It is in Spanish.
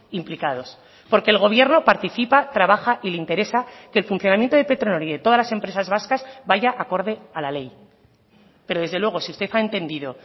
implicados porque el gobierno participa trabaja y le interesa que el funcionamiento de petronor y de todas las empresas vascas vaya acorde a la ley pero desde luego si usted ha entendido